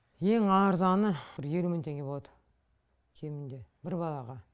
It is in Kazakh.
ең арзаны бір елу мың теңге болады кемінде бір балаға